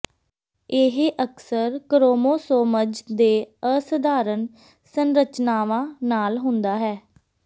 ਇਹ ਅਕਸਰ ਕ੍ਰੋਮੋਸੋਮਜ਼ ਦੇ ਅਸਧਾਰਨ ਸੰਰਚਨਾਵਾਂ ਨਾਲ ਹੁੰਦਾ ਹੈ